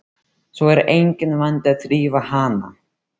Svo er enginn vandi að þrífa hana.